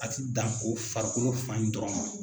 A tɛ dan ko farikolo fan in dɔrɔn ma.